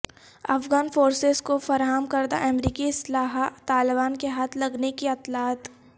Afghan forces کو فراہم کردہ امریکی اسلحہ طالبان کے ہاتھ لگنے کی اطلاعات